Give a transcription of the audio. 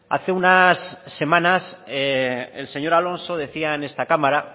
hace unas semanas el señor alonso decía en esta cámara